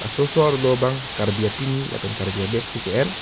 sosor dobang karbi apini lapen karbi abag si ke en.